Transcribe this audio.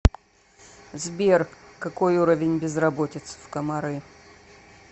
сбер какой уровень безработицы в коморы